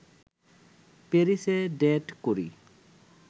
প্যারিসে ডেট করি